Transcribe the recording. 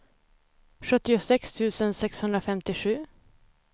sjuttiosex tusen sexhundrafemtiosju